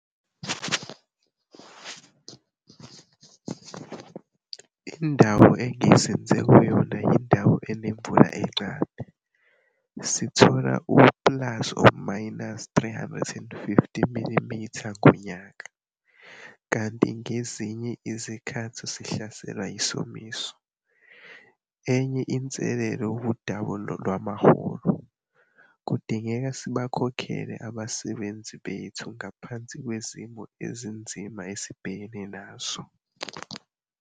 Indawo engizinze kuyo yindawo enemvula incane, sithola u-±350 mm ngonyaka, kanti ngezinye izikhathi sihlaselwa yisomiso. Enye inselelo wudaba lwamaholo - kudingeka sibakhokhele abasebenzi bethu ngaphansi kwezimo ezinzima esibhekene nazo.